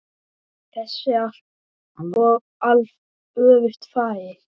Þessu er alveg öfugt farið.